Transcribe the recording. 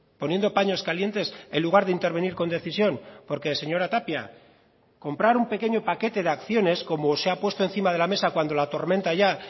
poniendo paños calientes en lugar de intervenir con decisión porque señora tapia comprar un pequeño paquete de acciones como se ha puesto encima de la mesa cuando la tormenta ya